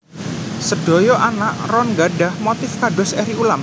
Sedaya anak ron gadhah motif kados eri ulam